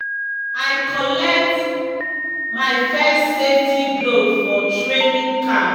i collect my first safety glove for training camp.